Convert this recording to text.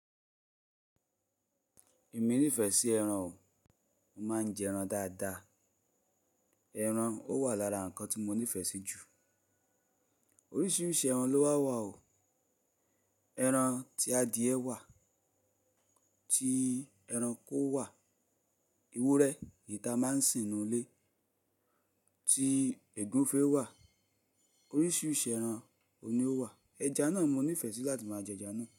Èmi nífẹ̀ẹ́ sí ẹran o, mo máa ń jẹ ẹran dáadáa. Ẹran ó wà lára nǹkan tí mo nífẹ̀ẹ́ sí jù. Oríṣiríṣi ẹran ló wà wa o. Ẹran tí adìẹ wà, tí ẹranko wà, ewúrẹ́ ni ìta máa ń sì ń nu ilé, tí ègúnfẹ́ wà. Oríṣiríṣi ẹran oun ni ó wà. Ẹja náà mo nífẹ̀ẹ́ sí láti máa jẹ ẹja náà.